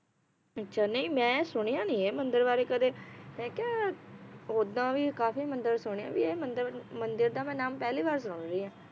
ਅੱਛਾ ਨਈ ਮੈ ਸੁਣਿਆ ਨਈ ਇਹ ਮੰਦਿਰ ਬਾਰੇ ਕਦੇ ਮੈ ਕਿਆ, ਓਦਾਂ ਵੀ ਕਾਫੀ ਮੰਦਿਰ ਸੁਣੇ ਵੀ ਇਹ ਮੰਦਿਰ, ਮੰਦਿਰ ਦਾ ਮੈ ਨਾਮ ਪਹਿਲੀ ਵਾਰ ਸੁਨ ਰਹੀ ਆ